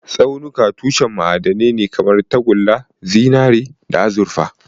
Tsaunuka tushen ma'adanai ne kamar tagulla, zinare, da azurfa.